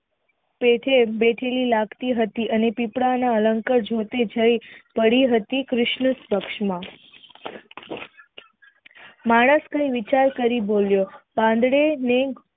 તેથી લગતી હતી અને પીપળા ના અલક જોય પડી હતી કૃષ્ન જ પક્ષ માં માણસે વિચાર કરી બોલ્યો પાંડવે